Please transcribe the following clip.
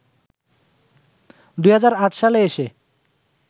২০০৮ সালে এসে